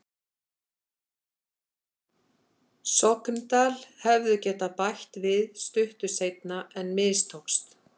Sogndal hefðu getað bætt við stuttu seinna en mistókst.